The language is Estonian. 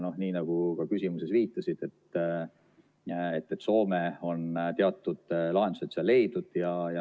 Nii nagu sa küsimuses viitasid, Soome on teatud lahendused seal leidnud.